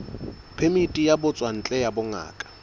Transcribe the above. phemiti ya ditswantle ya bongaka